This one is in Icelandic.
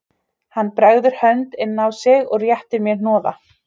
Hann bregður hönd inn á sig og réttir mér hnoða